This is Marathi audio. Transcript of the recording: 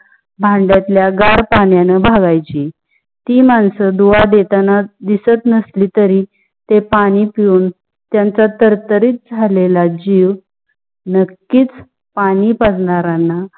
भांडयात ल्या गार पानायण भाग्याची. ती मानस दुआ देताना दिसत नसली तारी ते पाणी पेऊन त्यांच्या तर तारी झाले ल्या जीव नक्कीच पाणी पाजणारणा